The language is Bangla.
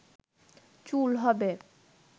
চুল হবে